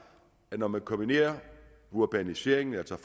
at når man kombinerer urbaniseringen altså